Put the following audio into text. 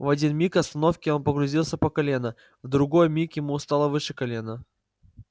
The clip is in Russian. в один миг остановки он погрузился по колено в другой миг ему стало выше колена